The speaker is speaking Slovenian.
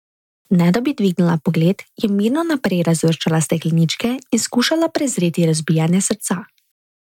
Ne da bi dvignila pogled, je mirno naprej razvrščala stekleničke in skušala prezreti razbijanje srca.